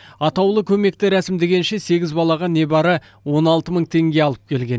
атаулы көмекті рәсімдегенше сегіз балаға небары он алты мың теңге алып келген